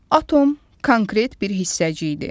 Atom konkret bir hissəcikdir.